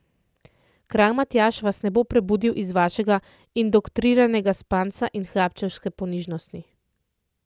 Kralj Matjaž vas ne bo prebudil iz vašega indoktriniranega spanca in hlapčevske ponižnosti.